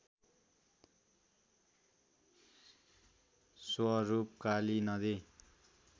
स्वरूप काली नदी